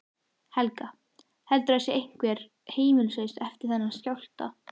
Helga: Heldurðu að það sé einhver heimilislaus eftir þennan skjálfta?